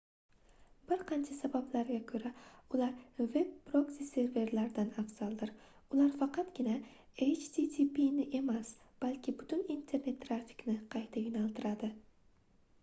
bir qancha sabablarga koʻra ular veb proksi-serverlardan afzaldir ular faqatgina httpʼni emas balki butun internet trafikni qayta yoʻnaltiradi